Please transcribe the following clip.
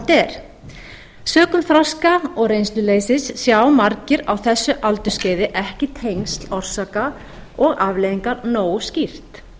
er sökum þroska og reynsluleysis sjá margir á þessu aldursskeiði ekki tengsl orsaka og afleiðinga nógu skýrt